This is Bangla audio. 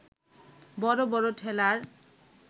বড় বড় ঠেলার